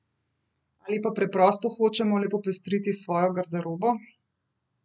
Ali pa preprosto hočemo le popestriti svojo garderobo?